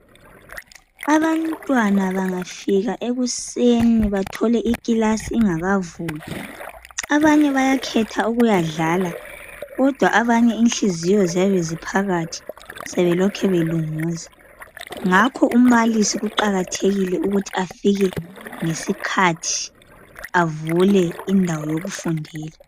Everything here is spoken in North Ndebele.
Abantwana bangafika ekuseni bathole ikilasi ingakavulwa abanye bayakhetha ukuyadlala kodwa abanye inhliziyo ziyabe ziphakathi sebelokhe belunguza ngakho umbalisi kuqakathekile ukuthi afike ngesikhathi avule indawo yokufundela.